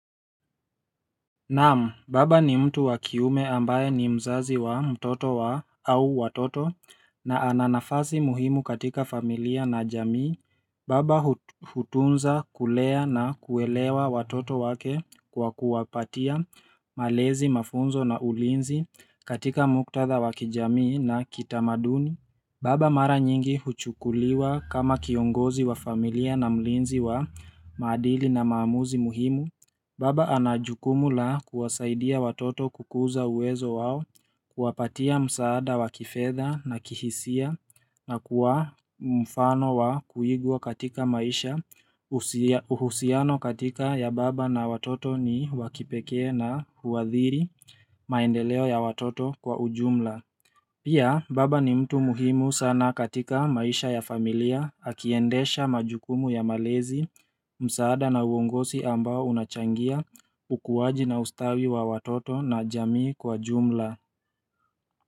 Naamu, baba ni mtu wa kiume ambaye ni mzazi wa mtoto wa au watoto na ana nafasi muhimu katika familia na jamii, baba hu hutunza kulea na kuelewa watoto wake kwa kuwapatia malezi mafunzo na ulinzi katika muktadha wakijamii na kitamaduni. Baba mara nyingi huchukuliwa kama kiongozi wa familia na mlinzi wa maadili na maamuzi muhimu. Baba anajukumu la kuwasaidia watoto kukuza uwezo wao kuwapatia msaada wa kifedha na kihisia na kuwa mfano wa kuigwa katika maisha uhusiano katika ya baba na watoto ni wakipekee na huwadhiri maendeleo ya watoto kwa ujumla. Pia baba ni mtu muhimu sana katika maisha ya familia akiendesha majukumu ya malezi msaada na uongosi ambao unachangia ukuwaji na ustawi wa watoto na jamii kwa jumla.